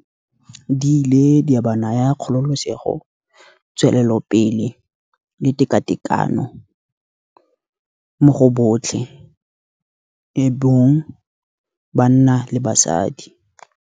Di ile di a ba naya kgololosego, tswelelopele le tekatekano mo go botlhe e bong banna le basadi.